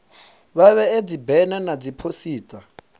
vha vhee dzibena na dziphosita